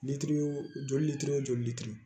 joli litiri wo joli lili